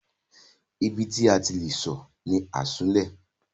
Ibi tí a ti le sọ̀ ni Asunlẹ̀.